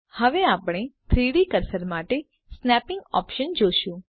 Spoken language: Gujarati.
હવે આપણે 3ડી કર્સર માટે સ્નેપીંગ ઓપ્શન જોશું